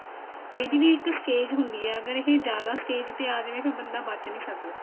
ਇਹਦੀ ਵੀ ਇੱਕ stage ਹੁੰਦੀ ਆ ਅਗਰ ਇਹ ਜਿਆਦਾ stage ਤੇ ਆ ਜਾਵੇ ਫ਼ੇਰ ਬੰਦਾ ਬਚ ਨੀ ਸਕਦਾ